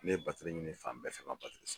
Ne ye batiri batore ɲini fan bɛɛ fɛ n ma batiri